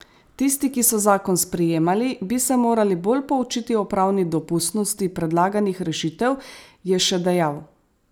Tisti, ki so zakon sprejemali, bi se morali bolj poučiti o pravni dopustnosti predlaganih rešitev, je še dejal.